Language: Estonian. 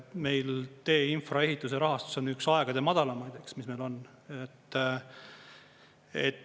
Meil tee infraehituse rahastus on üks aegade madalamaid, mis meil on.